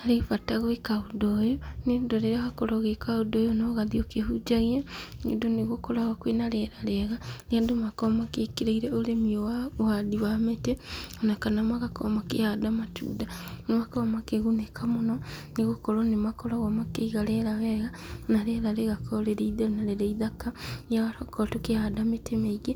Harĩ bata gwĩka ũndũ ũyũ, nĩũndũ rĩrĩa wakorwo ũgĩka ũndũ ũyũ na ũgathiĩ ũkĩhunjagia, nĩũndũ nĩgũkoragwo kwĩna rĩera rĩega, rĩrĩa andũ makoragwo magĩkiĩrĩire ũrĩmi ũyũ wa mĩtĩ, ona kana magakorwo makĩhanda matunda, nĩmakoragwo makĩgunĩka mũno, nĩgũkorwo nĩmakoragwo makĩiga rĩera wega, na rĩera rĩgakorwo rĩrĩ itheru na rĩrĩ ithaka, rĩrĩa twakorwo tũkĩhanda mĩtĩ mĩingĩ,